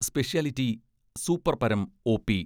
Speciality, super പരം OP.